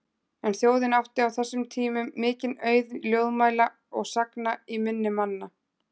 En þjóðin átti á þessum tímum mikinn auð ljóðmæla og sagna í minni manna.